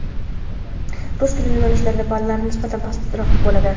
Rus tili yo‘nalishlarida ballar nisbatan pastroq bo‘ladi.